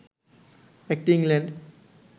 একটি ইংল্যান্ড